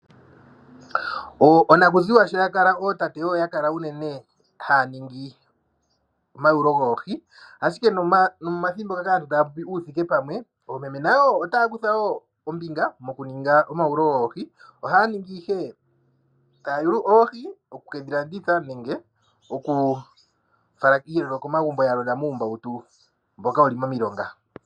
Onakuziwa sho ya kala ootate oyo ya kala unene haya ningi omayewulo goohi ashike momathimbo ngaka aantu taya popi uuthike pamwe oomeme nayo otaya kutha ombinga mokuninga omayawulo goohi ohaya ningi ihe taya yulu oohi oku kedhi landitha nenge okufala komagumbo ya gwedha muumbawutu mboka wuli momi longa.